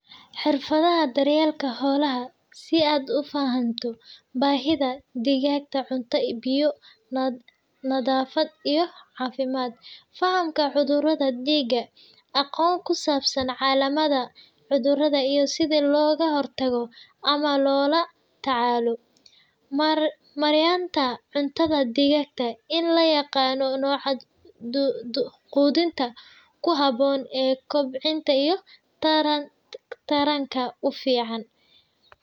Xirfadaha daryeelka xoolaha si aad u fahanto baahiyaha dhigaagga: cunto iyo biyo, nadaafad iyo caafimaad, fahanka xanuunada, dhiga aqoonta ku saabsan calaamadaha cudurrada iyo sida looga hortago ama loola tacaalo. Maareynta cuntada dhigaagga la aqaano, nooca quudinta ku habboon kobcinta iyo taranka u fiican.